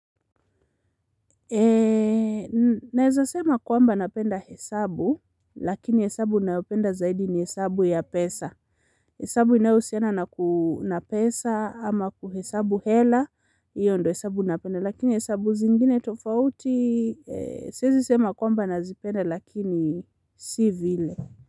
Naweza sema kwamba napenda hesabu lakini hesabu naopenda zaidi ni hesabu ya pesa hesabu ina husiana na kuu na pesa ama kuhesabu hela iyo ndo hesabu napenda. Lakini hesabu zingine tofauti siwezi sema kwamba nazipenda lakini si vile.